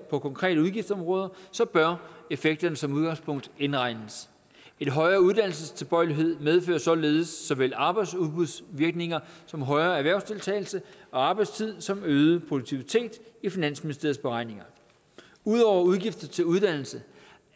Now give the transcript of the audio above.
på konkrete udgiftsområder bør effekterne som udgangspunkt indregnes en højere uddannelsestilbøjelighed medfører således såvel arbejdsudbudsvirkninger som højere erhvervsdeltagelse og arbejdstid samt øget produktivitet i finansministeriets beregninger ud over udgifter til uddannelse